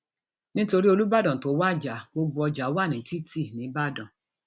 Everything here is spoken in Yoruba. nítorí um olùbàdàn tó wájà gbogbo um ọjà wa ní títì nìbàdàn